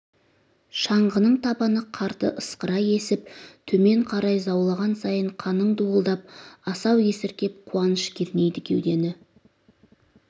шаңғының табаны қарды ысқыра есіп төмен қарай заулаған сайын қаның дуылдап асау есіркеп қуаныш кернейді кеудені